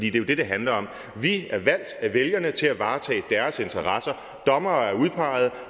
er jo det det handler om vi er valgt af vælgerne til at varetage deres interesser dommerne er udpeget